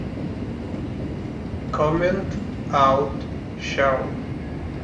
коммент аут шоу